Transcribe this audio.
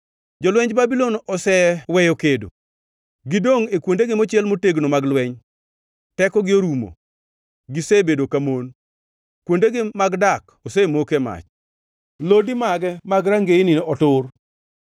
Jolwenj Babulon oseweyo kedo; gidongʼ e kuondegi mochiel motegno mag lweny. Tekogi orumo; gisebedo ka mon. Kuondegi mag dak osemoke mach; lodi mage mag rangeye otur.